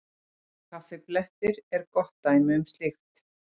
Kaffiblettir eru gott dæmi um slíkt.